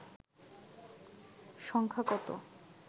সংখ্যা কত